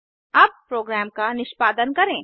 अब प्रोग्राम का निष्पादन करें